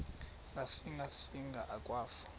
ngasinga singa akwafu